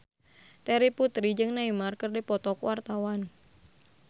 Terry Putri jeung Neymar keur dipoto ku wartawan